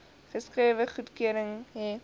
geskrewe goedkeuring hê